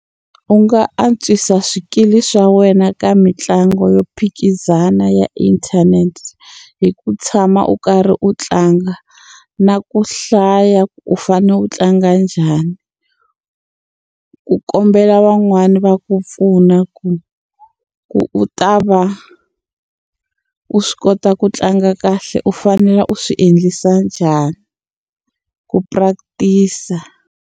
U nga antswisa swikili swa wena ka mitlangu yo phikizana ya inthanete hi ku tshama u karhi u tlanga na ku hlaya ku u fane u tlanga njhani ku kombela van'wani va ku pfuna ku ku u ta va u swi kota ku tlanga kahle u fanele u swi endlisa njhani ku practice-a.